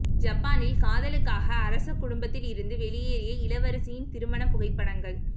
ஜப்பானில் காதலுக்காக அரச குடும்பத்தில் இருந்து வெளியேறிய இளவரசியின் திருமண புகைப்படங்கள்